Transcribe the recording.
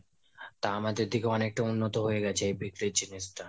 তা আমাদের দিকে অনেকটা উন্নত হয়েগেছে এই বিক্রির জিনিষটা.